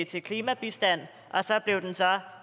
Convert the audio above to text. til klimabistand og så blev den